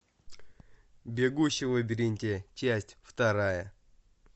бегущий в лабиринте часть вторая